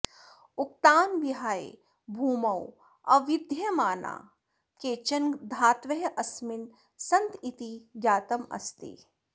उक्तान् विहाय भूमौ अविद्यमानाः केचन धातवः अस्मिन् सन्तीति ज्ञातमस्ति